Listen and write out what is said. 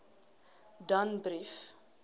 danbrief